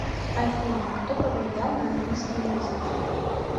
афина кто повлиял на английский язык